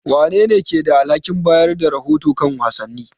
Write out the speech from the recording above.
Wanene ke da alhakin bayar da rahoto kan wasanni?